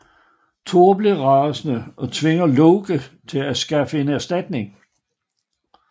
Thor bliver rasende og tvinger Loke til at skaffe en erstatning